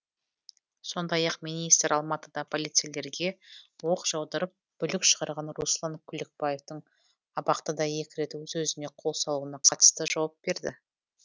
сондай ақ министр алматыда полицейлерге оқ жаудырып бүлік шығарған руслан күлікбаевтың абақтыда екі рет өз өзіне қол салуына қатысты жауап берді